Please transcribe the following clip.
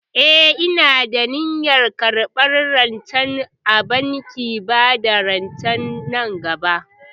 Eh, ina da niyyar karɓar rance a bankin bada rance nan gaba.